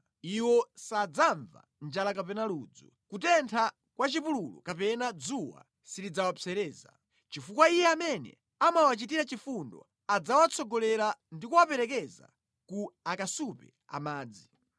Iwo sadzamva njala kapena ludzu, kutentha kwa mʼchipululu kapena dzuwa silidzawapsereza; chifukwa Iye amene amawachitira chifundo adzawatsogolera ndi kuwaperekeza ku akasupe a madzi.